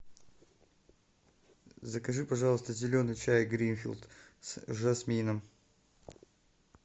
закажи пожалуйста зеленый чай гринфилд с жасмином